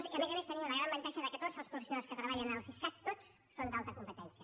i a més a més tenim el gran avantatge que tots els professionals que treballen al siscat tots són d’alta competència